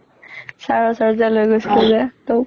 sir ৰ ওচৰত যে লৈ গৈছিলো যে তোক